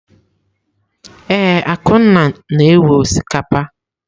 Ee, Akunna na-ewe osikapa.